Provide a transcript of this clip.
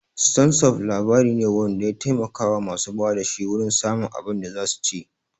Ston sup' labari ne wanda ya taimaka wa masu ba da shi wurin samun abin da zasu ci